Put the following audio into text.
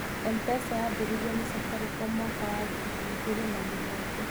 Mpesa yaambirio nĩ Safaricom mwaka wa ngiri igĩrĩ na mũgwanja.